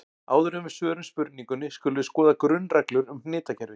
Áður en við svörum spurningunni skulum við skoða grunnreglur um hnitakerfi.